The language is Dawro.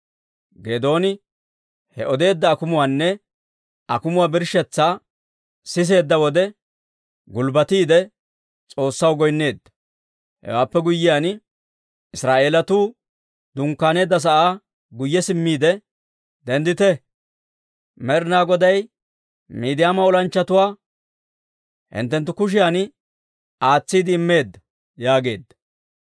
Geedooni he odeedda akumuwaanne akumuwaa birshshetsaa siseedda wode, gulbbatiide S'oossaw goynneedda. Hewaappe guyyiyaan, Israa'eelatuu dunkkaaneedda sa'aa guyye simmiide, «Denddite! Med'inaa Goday Miidiyaama olanchchatuwaa hinttenttu kushiyan aatsiide immeedda!» yaageedda.